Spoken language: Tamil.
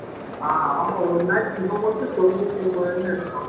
ஆஹ் ஆமா ஒரு match இவன் மட்டும் தொண்ணூத்தி ஒன்பதுன்னு அடிச்சான்